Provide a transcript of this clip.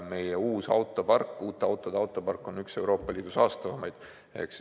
Meie uute autode park on üks Euroopa Liidu saastavamaid.